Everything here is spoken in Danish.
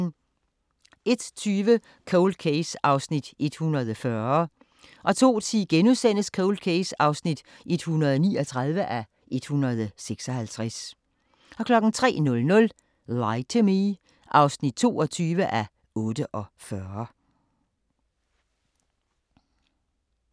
01:20: Cold Case (140:156) 02:10: Cold Case (139:156)* 03:00: Lie to Me (22:48)